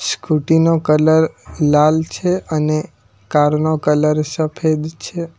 Scooty નો colour લાલ છે અને કાર નો કલર સફેદ છે.